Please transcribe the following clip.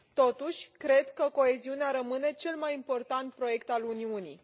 Totuși, cred că coeziunea rămâne cel mai important proiect al Uniunii.